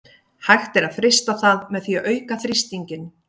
Hægt er að frysta það með því að auka þrýstinginn.